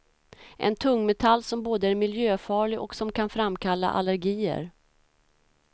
En tungmetall som både är miljöfarlig och som kan framkalla allergier.